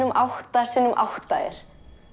átta x átta er